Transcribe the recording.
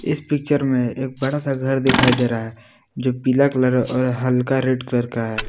इस पिक्चर में एक बड़ा सा घर दिखाई दे रहा है जो पीला कलर और हल्का रेड कलर का है।